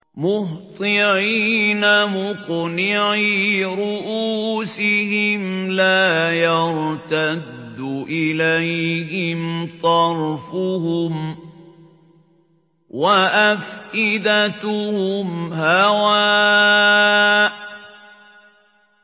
مُهْطِعِينَ مُقْنِعِي رُءُوسِهِمْ لَا يَرْتَدُّ إِلَيْهِمْ طَرْفُهُمْ ۖ وَأَفْئِدَتُهُمْ هَوَاءٌ